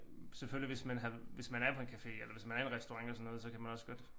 Selvfølgelig hvis man havde hvis man er på en café eller hvis man er i en restaurant eller sådan noget så kan man også godt